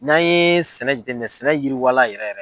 N'an yee sɛnɛ jateminɛ sɛnɛ yiriwala yɛrɛ yɛrɛ